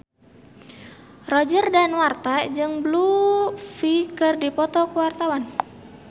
Roger Danuarta jeung Blue Ivy keur dipoto ku wartawan